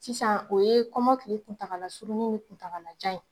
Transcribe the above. Sisan o ye kɔmɔkili kuntagala surunni ni kuntagalajan ye